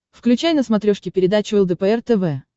включай на смотрешке передачу лдпр тв